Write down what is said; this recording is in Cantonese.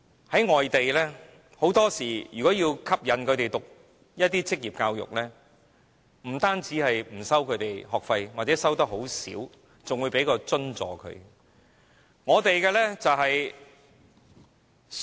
在外地，如果要吸引人修讀職業教育，很多時候不單不收取學費或只收取小量學費，更會提供津助。